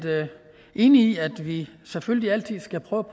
enige i at vi selvfølgelig altid skal prøve